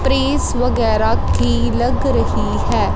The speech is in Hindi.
प्रीस वगैरा की लग रही है।